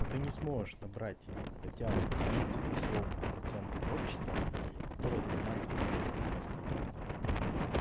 а ты не сможешь набрать хотя бы тридцать условных процентов общества которые занимались бы политикой постоянно